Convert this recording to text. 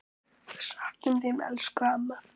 Við söknum þín, elsku amma.